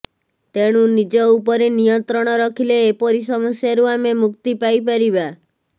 ତେଣୁ ନିଜ ଉପରେ ନିୟନ୍ତ୍ରଣ ରଖିଲେ ଏପରି ସମସ୍ୟାରୁ ଆମେ ମୁକ୍ତି ପାଇପାରିବା